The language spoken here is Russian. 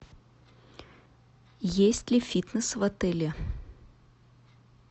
есть ли фитнес в отеле